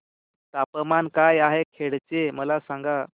तापमान काय आहे खेड चे मला सांगा